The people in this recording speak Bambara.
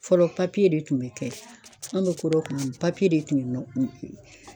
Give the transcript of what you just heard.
Fɔlɔ papiye de tun bɛ kɛ, an bɛ ko don kuma min papiye de tun ye